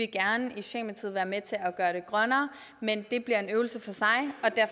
gerne være med til at gøre det grønnere men det bliver en øvelse